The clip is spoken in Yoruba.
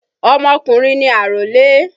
Ọmọkùnrin ni àrólé.